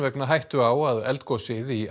vegna hættu á að eldgosið í